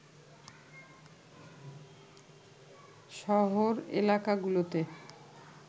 শহর এলাকাগুলোতে